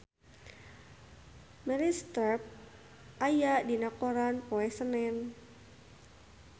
Meryl Streep aya dina koran poe Senen